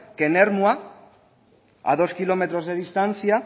que en ermua a dos kilómetros de distancia